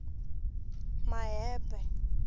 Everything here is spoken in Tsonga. mahebe